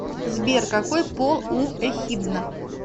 сбер какой пол у эхидна